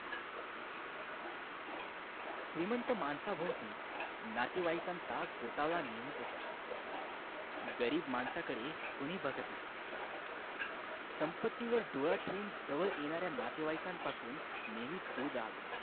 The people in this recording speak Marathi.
श्रीमंत माणसा भोवती नातेवाईकांचा गोतावळा नेहमीच असतो गरीब माणसाकडे कोणी बघत नाही संपत्तीवर डोळा ठेवून जवळ येणाऱ्या नातेवाईकांपासून नेहमी दूर राहावे